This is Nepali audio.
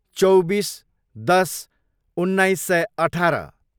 चौबिस, दस, उन्नाइस सय अठार